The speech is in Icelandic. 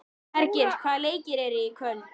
Hergils, hvaða leikir eru í kvöld?